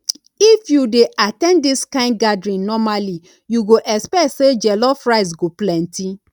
if you dey at ten d this kind gathering normally you go expect say jollof rice go plenty